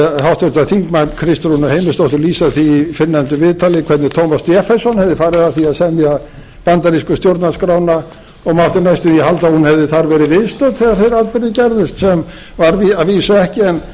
heyra háttvirtan þingmann kristrúnu heimisdóttur lýsa því í fyrrnefndu viðtali hvernig thomas jefferson hefði farið að því að semja bandarísku stjórnarskrána og mátti næstum því halda að hún hefði þar verið viðstödd þegar þeir atburðir gerðust sem var að vísu ekki en það kom fram